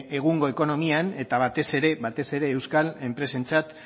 egungo ekonomian eta batez ere euskal enpresentzat